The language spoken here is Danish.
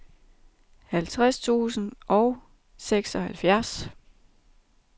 halvtreds tusind og seksoghalvfjerds